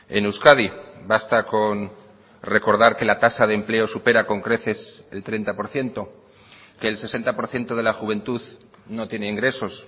en euskadi basta con recordar que la tasa de empleo supera con creces el treinta por ciento que el sesenta por ciento de la juventud no tiene ingresos